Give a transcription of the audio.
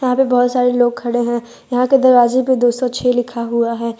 यहां पे बहुत सारे लोग खड़े हैं यहां के दरवाजे पे दो सौ छह लिखा हुआ है।